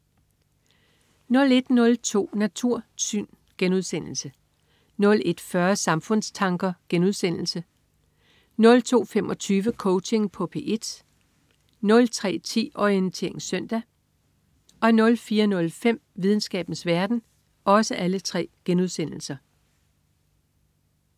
01.02 Natursyn* 01.40 Samfundstanker* 02.25 Coaching på P1* 03.10 Orientering søndag* 04.05 Videnskabens verden*